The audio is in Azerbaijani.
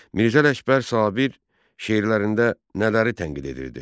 Mirzə Ələkbər Sabir şeirlərində nələri tənqid edirdi?